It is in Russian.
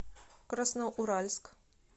красноуральск